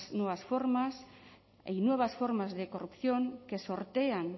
nuevas formas hay nuevas formas de corrupción que sortean